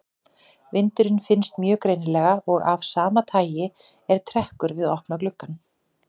Vindurinn finnst mjög greinilega og af sama tagi er trekkur við opna glugga.